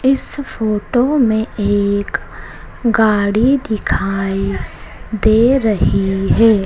इस फोटो में एक गाड़ी दिखाई दे रही है।